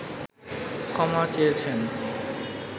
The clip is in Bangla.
ক্ষমা চেয়েছেন